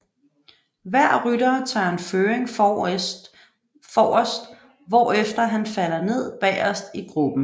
Hver rytter tager en føring forrest hvorefter han falder ned bagerst i gruppen